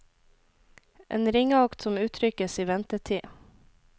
En ringeakt som uttrykkes i ventetid.